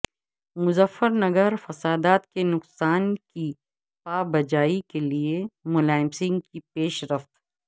مظفر نگر فسادات کے نقصان کی پابجائی کے لیے ملائم سنگھ کی پیش رفت